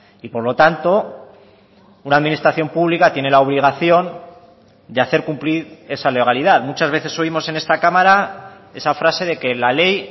y por lo tanto una administración pública tiene la obligación de hacer cumplir esa legalidad muchas veces oímos en esta cámara esa frase de que la ley